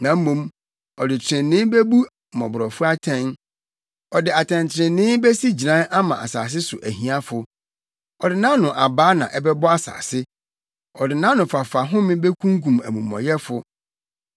na mmom ɔde trenee bebu mmɔborɔfo atɛn, ɔde atɛntrenee besi gyinae ama asase so ahiafo. Ɔde nʼano abaa na ɛbɛbɔ asase; ɔde nʼanofafa home bekunkum amumɔyɛfo.